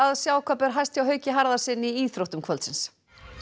sjá hvað ber hæst hjá Hauki Harðarsyni í íþróttum kvöldsins